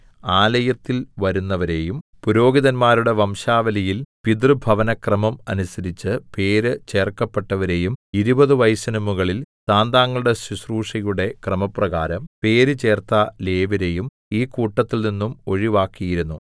ആലയത്തിൽ വരുന്നവരെയും പുരോഹിതന്മാരുടെ വംശാവലിയിൽ പിതൃഭവനക്രമം അനുസരിച്ച് പേരു ചേർക്കപ്പെട്ടവരെയും ഇരുപതു വയസ്സിന് മുകളിൽ താന്താങ്ങളുടെ ശുശ്രൂഷയുടെ ക്രമപ്രകാരം പേരുചേർത്ത ലേവ്യരെയും ഈ കൂട്ടത്തിൽനിന്നും ഒഴിവാക്കിയിരുന്നു